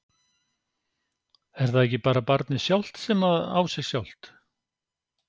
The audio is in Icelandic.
Er það ekki bara barnið sjálft sem að á sig sjálft?